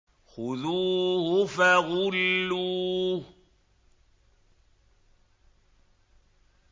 خُذُوهُ فَغُلُّوهُ